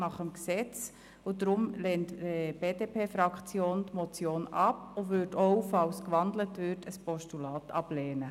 Deshalb lehnt die BDP-Fraktion die Motion ab und würde auch, falls gewandelt würde, ein Postulat ablehnen.